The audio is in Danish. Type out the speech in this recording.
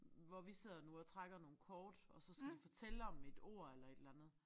Hvor vi sidder nu og trækker nogle kort og så skal de fortælle om et ord eller et eller andet